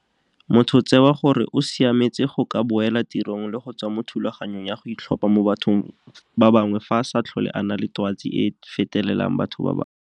Motho o tsewa gore o siametse go ka boela tirong le go tswa mo thulaganyong ya go itlhopha mo bathong ba bangwe fa a sa tlhole a na le twatsi e e fetelang batho ba bangwe.